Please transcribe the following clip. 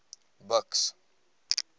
buks